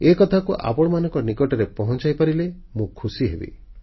ଏକଥାକୁ ଆପଣମାନଙ୍କ ନିକଟରେ ପହଂଚାଇପାରିଲେ ମୁଁ ଖୁସି ହେବି